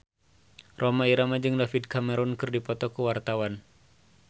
Rhoma Irama jeung David Cameron keur dipoto ku wartawan